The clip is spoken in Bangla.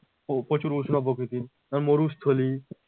প্রচুর উষ্ণ প্রকৃতির মরুস্থলী